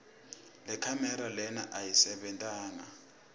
lekhamera lena ayisebentanga